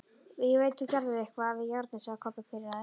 Ég veit þú gerðir eitthvað við járnið, sagði Kobbi pirraður.